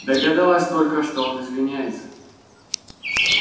догадалась только что он извиняется